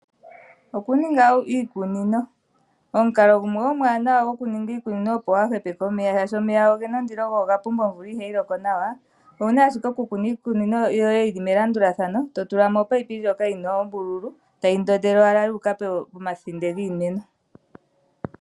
Okuninga iikunino. Omukalo gumwe omuwanawa gokuninga iikunino opo waa hepeke omeya, shaashi omeya ogena ondilo go oga pumba yo omvula ihayi loko nawa, owu na ashike okukuna iikunino yoye yi li melandulathano, to tulamo omunino ngoka guna oombululu, tayi ndondelwa owala ya uka pomathinde giimeno.